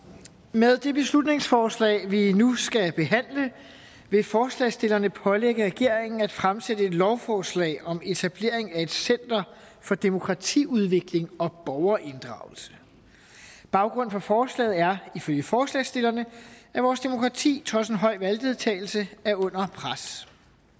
med det beslutningsforslag vi nu skal behandle vil forslagsstillerne pålægge regeringen at fremsætte et lovforslag om etablering af et center for demokratiudvikling og borgerinddragelse baggrunden for forslaget er ifølge forslagsstillerne at vores demokrati trods en høj valgdeltagelse er under pres